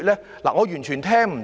主席，我完全聽不到。